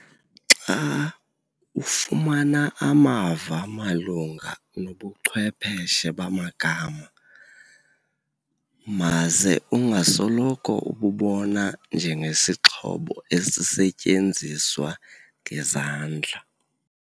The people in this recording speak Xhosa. Xa ufumana amava malunga nobuchwepheshe bamagama, maze ungasoloko ububona njengesixhobo esisetyenziswa ngezandla.